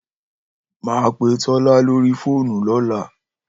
Màá pe Tò̩lá lórí fóònù ló̩la